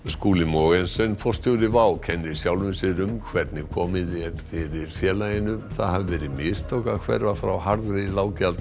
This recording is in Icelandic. Skúli Mogensen forstjóri WOW kennir sjálfum sér um hvernig komið er fyrir félaginu það hafi verið mistök að hverfa frá harðri